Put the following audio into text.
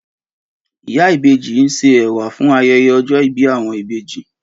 Ìyá ìbejí n ṣe ẹ̀wà fún ayẹyẹ ọjọ ìbí awọn ìbejí